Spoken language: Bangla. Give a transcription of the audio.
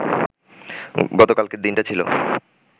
গতকালকের দিনটা ছিল